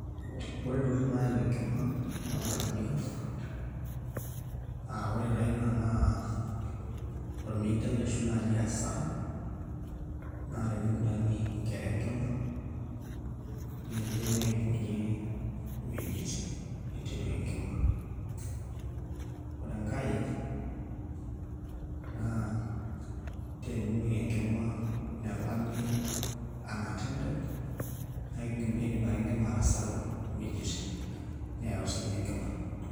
Ore ntokitin naaya enkima toonkajijik ang' ore taa naai ina naa ormeitai ashu asara naa teniguranie nkera enkima niidim aibung'ie iwuejitin niteru enkima, ore enkae naa teninoki enkima nelami un attended naa iidim ake enkima atasaru iwuejitin neyau sii ina enkima.